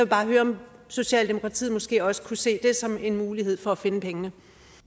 bare høre om socialdemokratiet måske også kunne se det som en mulighed for at finde pengene